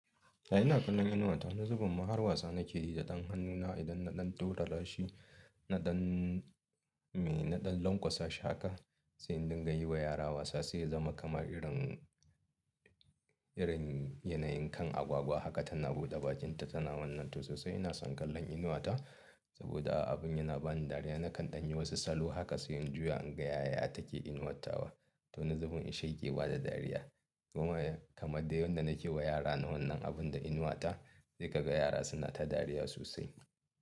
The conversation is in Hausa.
Ya ina kallon inuwa ta wani zubin ma har wasa nake yi da ɗan hannuna idan na ɗan dudana shi, na ɗan mai, na ɗan lanƙwasa shi haka. Sai in dinga yi wa yara wasa sai ya zama kamar irin, irin yanayin kan agwagwa haka tana buɗe bakinta tana wannan to sosai ina son kallon inuwa ta saboda abin yana bani dariya. Nakan ɗanyi wasu salo haka sai in juya in ga yaya take inuwattawa to wani zubin in sheƙewa da dariya. Kuma kamar dai yadda nake yi wa yara wannan abun da inuwa ta sai kaga yara suna ta dariya sosai.